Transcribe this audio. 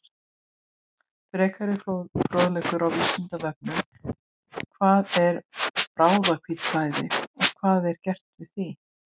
Frekari fróðleikur á Vísindavefnum: Hvað er bráðahvítblæði og hvað er gert við því?